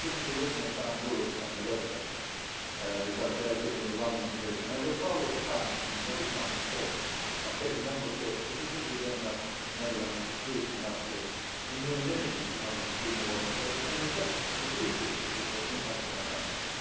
You shouldn't be looking at Farm Europe on the website because they are giving you the wrong information. I look forward to France being very strong supporters of getting Member States, particularly Denmark, the Netherlands, Sweden and Austria in unanimity in order to do more, so that we can reduce this particular impact on our farmers.